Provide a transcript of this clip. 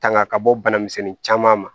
Tanga ka bɔ bana misɛnnin caman ma